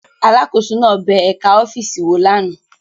Alákòóso náà bẹ ẹ̀ka ọ́fíìsì wò lánàá